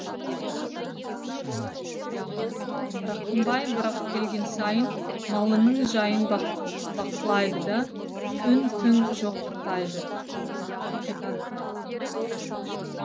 рақымбай бірақ келген сайын малының жайын бақылайды да үн түн жоқ қайтады